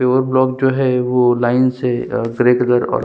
pure black जो है वो लाइन से और ग्रे कलर --